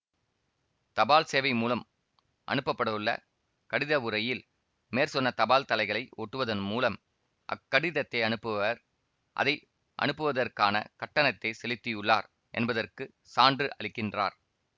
தபால் சேவை மூலம் அனுப்பப்படவுள்ள கடிதஉறையில் மேற்சொன்ன தபால்தலைகளை ஒட்டுவதன் மூலம் அக் கடிதத்தை அனுப்புபவர் அதை அனுப்புவதற்கான கட்டணத்தைச் செலுத்தியுள்ளார் என்பதற்குச் சான்று அளிக்கின்றார்